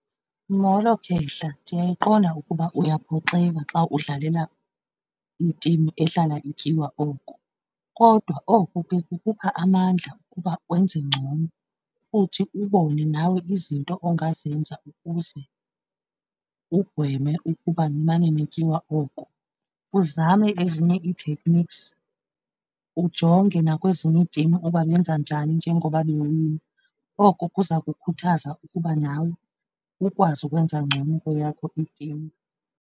Molo khehla. Ndiyayiqonda ukuba uyaphoxeka xa udlalela itimu ehlala ityiwa oko, kodwa oko ke kukupha amandla okuba wenze ngcono futhi ubone nawe izinto ongazenza ukuze ugweme ukuba nimane nityiwa oko. Uzame ezinye ii-techniques, ujonge nakwezinye itimu uba benza njani njengoba bewina. Oko kuza kukhuthaza ukuba nawe ukwazi ukwenza ngcono kweyakho itimu.